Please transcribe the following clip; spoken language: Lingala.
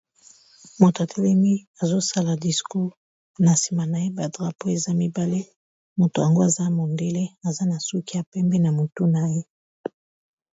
Moto atelemi, azo sala discour. Na nsima na ye, ba drapo eza mibale. Moto yango, aza mondele, aza na suki ya pembe na motu na ye.